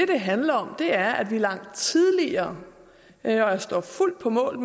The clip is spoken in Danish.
det handler om er at vi langt tidligere og jeg står fuldt på mål